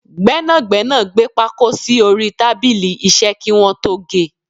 Gbẹ́nàgbẹ́nà gbé pákó sì orí tábìlì iṣẹ́ kí wọn tó ge.